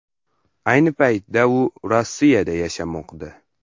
Ayni paytda u Rossiyada yashamoqda.